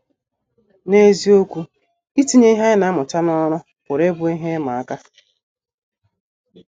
N’eziokwu, itinye ihe anyị na - amụta n’ọrụ pụrụ ịbụ ihe ịma aka.